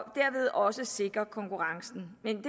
dermed også sikre konkurrencen men